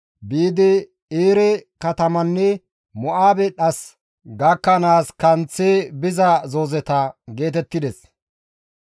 biidi Eere katamanne Mo7aabe dhas gakkanaas kanththi biza zoozeta» geetettides.